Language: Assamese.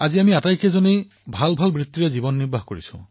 আজি আমি পাঁচোজন ভাতৃয়েই সুপ্ৰতিষ্ঠিত